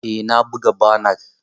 Eh na buga banar.